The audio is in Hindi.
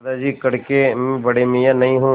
दादाजी कड़के मैं बड़े मियाँ नहीं हूँ